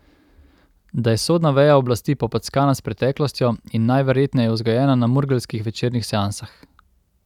Da je sodna veja oblasti popackana s preteklostjo in najverjetneje vzgojena na murgeljskih večernih seansah.